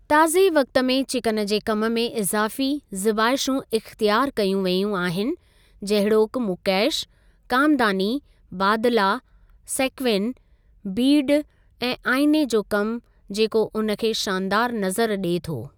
ताज़े वक़्ति में चिकन जे कमि में इज़ाफ़ी ज़ीबाइशूं इख़्तियारु कयूं वेयूं आहिनि जहिड़ोकि मुकैश, कामदानी, बादला, सेक्विन. बीड ऐं आईन॓ जो कमु जेको उन खे शानदारु नज़र ॾिए थो।